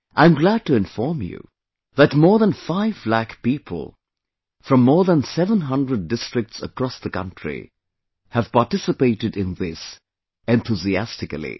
I am glad to inform you, that more than 5 lakh people from more than 700 districts across the country have participated in this enthusiastically